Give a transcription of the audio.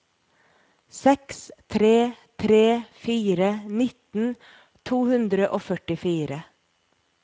seks tre tre fire nitten to hundre og førtifire